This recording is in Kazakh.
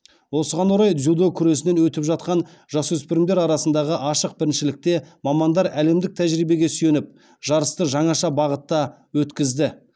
осыған орай дзюдо күресінен өтіп жатқан жасөспірімдер арасындағы ашық біріншілікте мамандар әлемдік тәжірибеге сүйеніп жарысты жаңаша бағытта өткізді